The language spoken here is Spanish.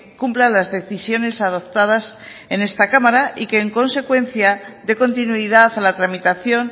cumpla las decisiones adoptadas en esta cámara y en consecuencia de continuidad a la tramitación